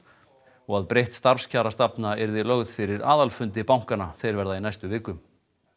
og að breytt starfskjarastefna yrði lögð fyrir aðalfundi bankanna þeir verða í næstu viku